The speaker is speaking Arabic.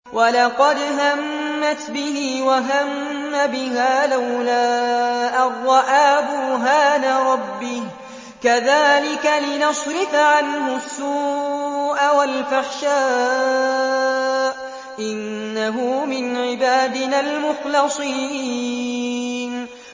وَلَقَدْ هَمَّتْ بِهِ ۖ وَهَمَّ بِهَا لَوْلَا أَن رَّأَىٰ بُرْهَانَ رَبِّهِ ۚ كَذَٰلِكَ لِنَصْرِفَ عَنْهُ السُّوءَ وَالْفَحْشَاءَ ۚ إِنَّهُ مِنْ عِبَادِنَا الْمُخْلَصِينَ